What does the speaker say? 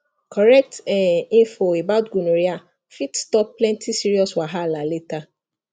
correct um info about gonorrhea fit stop plenty serious wahala later